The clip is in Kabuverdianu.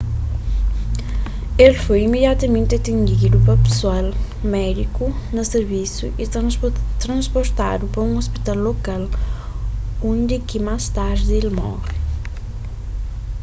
el foi imediatamenti atendidu pa pesoal médiku na sirvisu y trasportadu pa un ôspital lokal undi ki más tardi el móre